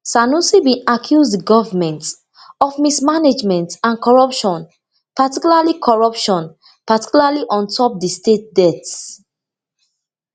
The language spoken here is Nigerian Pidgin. sanusi bin accuse di government of mismanagement and corruption particularly corruption particularly on top di state debts